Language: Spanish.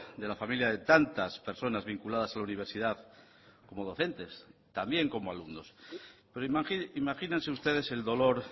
de la familia de tantas personas vinculadas a la universidad como docentes también como alumnos pero imagínense ustedes el dolor